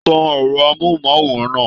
Tan ẹrọ amohunmaworan náà.